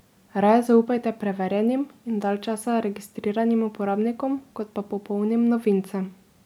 Raje zaupajte preverjenim in dalj časa registriranim uporabnikom, kot pa popolnim novincem.